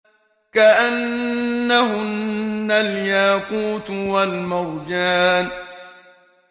كَأَنَّهُنَّ الْيَاقُوتُ وَالْمَرْجَانُ